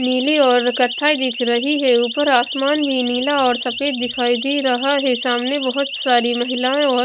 नीली और कथई दिख रही है ऊपर आसमान भी नीला और सफेद दिखाई दे रहा है सामने बहुत सारी महिलाएं और--